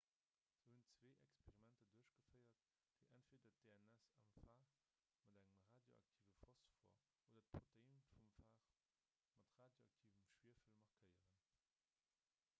se hunn zwee experimenter duerchgeféiert déi entweeder d'dns am phag mat engem radioaktive phosphor oder d'protein vum phag mat radioaktivem schwiewel markéieren